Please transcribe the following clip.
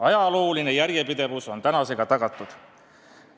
Ajalooline järjepidevus on tänasega tagatud.